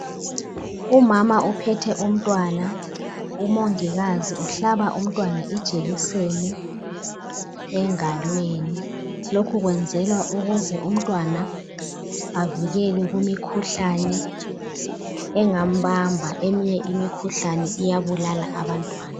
Umama uphethe umntwana umongikazi uhlaba umntwana ijekiseni engalweni lokhu kwenzelwa ukuze umntwana avikelwe kwimikhuhlane engambamba eminye imikhuhlane iyabulala abantwana.